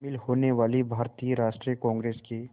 शामिल होने वाले भारतीय राष्ट्रीय कांग्रेस के